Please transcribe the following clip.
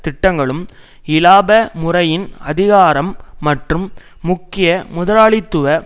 திட்டங்களும் இலாப முறையின் அதிகாரம் மற்றும் முக்கிய முதலாளித்துவ